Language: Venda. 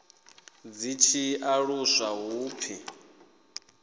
zwi tshi aluswa hu pfi